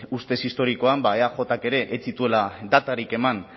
ustez historikoan ba eajk ere ez zituela datarik eman